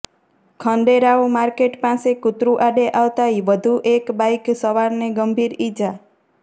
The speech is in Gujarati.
ખંડેરાવ માર્કેટ પાસે કૂતરું આડે આવતાં વધુ એક બાઇક સવારને ગંભીર ઇજા